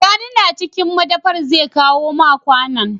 Sani na cikin madafar zai kawo ma kwAnan